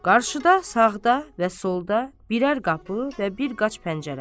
Qarşıda, sağda və solda birər qapı və bir qaç pəncərə.